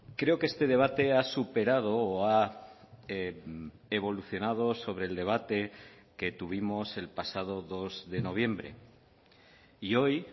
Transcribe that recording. creo que este debate ha superado o ha evolucionado sobre el debate que tuvimos el pasado dos de noviembre y hoy